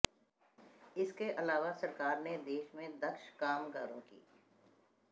इसके अलावा सरकार ने देश में दक्ष कामगारों की